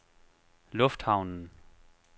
lufthavnen